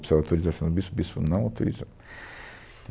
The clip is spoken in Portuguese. Precisava da autorização do bispo, o bispo não autorizou.